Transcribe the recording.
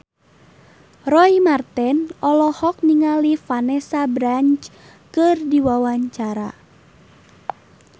Roy Marten olohok ningali Vanessa Branch keur diwawancara